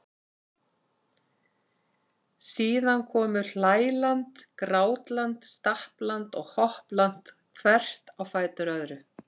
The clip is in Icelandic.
Síðan komu hlæland, grátland, stappland og hoppland hvert á fætur öðru.